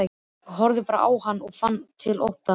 Horfði bara á hann og fann til ótta.